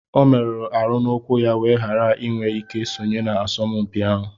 Ọ merụrụ arụ n'ụkwụ ya wéé ghara iwé ike sonye na asọmpi ahụ